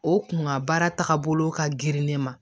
O kun ka baara tagabolo ka girin ne ma